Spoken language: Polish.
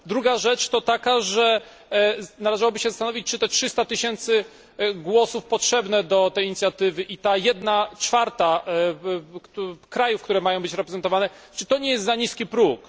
Druga rzecz to, że należałoby się zastanowić, czy 300 tysięcy głosów potrzebnych do tej inicjatywy i jedna czwarta krajów, które mają być reprezentowane czy to nie jest za niski próg?